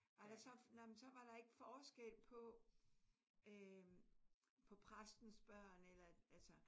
Er der så nej men så var der ikke forskel på øh på præstens børn eller? Altså